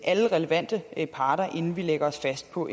alle relevante parter inden vi lægger os fast på